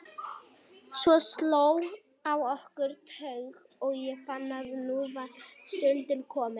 Svo sló á okkur þögn og ég fann að nú var stundin komin.